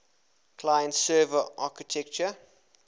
client server architecture